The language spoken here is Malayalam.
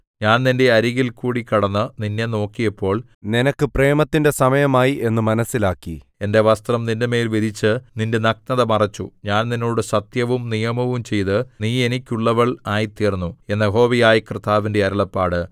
ഞാൻ നിന്റെ അരികിൽ കൂടി കടന്ന് നിന്നെ നോക്കിയപ്പോൾ നിനക്ക് പ്രേമത്തിന്റെ സമയമായി എന്നു മനസ്സിലാക്കി എന്റെ വസ്ത്രം നിന്റെമേൽ വിരിച്ച് നിന്റെ നഗ്നത മറച്ചു ഞാൻ നിന്നോട് സത്യവും നിയമവും ചെയ്ത് നീ എനിക്കുള്ളവൾ ആയിത്തീർന്നു എന്ന് യഹോവയായ കർത്താവിന്റെ അരുളപ്പാട്